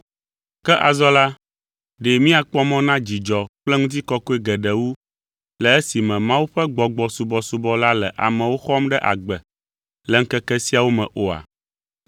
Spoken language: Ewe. Ke azɔ la, ɖe míakpɔ mɔ na dzidzɔ kple ŋutikɔkɔe geɖe wu le esime Mawu ƒe Gbɔgbɔ subɔsubɔ la le amewo xɔm ɖe agbe le ŋkeke siawo me oa?